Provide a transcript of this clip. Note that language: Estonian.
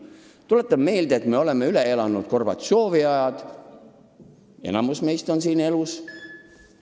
Tuletan meelde, et me oleme üle elanud Gorbatšovi ajad – enamik meist on elus.